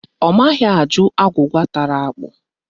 Ọ maghị ajụ agwụgwa tara ákpụ̀